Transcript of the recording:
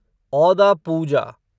औदा पूजा